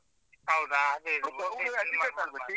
ಹೌದು ಹಾಗೆ .